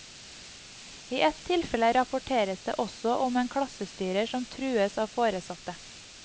I ett tilfelle rapporteres det også om en klassestyrer som trues av foresatte.